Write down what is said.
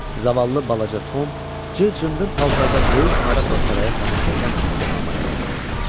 Zavallı balaca Tom cır-cındır paltarda böyük maraqla saraya tamaşa edən izdihama yanaşdı.